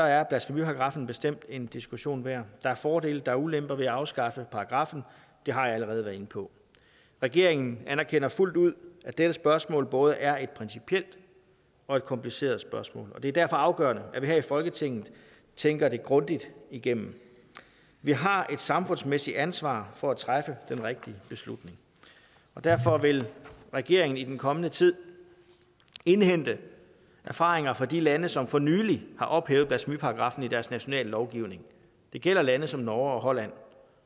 er blasfemiparagraffen bestemt en diskussion værd der er fordele der er ulemper ved at afskaffe paragraffen og det har jeg allerede været inde på regeringen anerkender fuldt ud at dette spørgsmål både er et principielt og et kompliceret spørgsmål og det er derfor afgørende at vi her i folketinget tænker det grundigt igennem vi har et samfundsmæssigt ansvar for at træffe den rigtige beslutning og derfor vil regeringen i den kommende tid indhente erfaringer fra de lande som for nylig har ophævet blasfemiparagraffen i deres nationale lovgivning det gælder lande som norge og holland